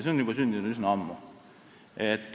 See kõik sündis juba üsna ammu.